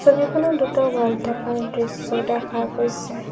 ছবিখনত দুটা ৱাল থকা দৃশ্য দেখা গৈছে।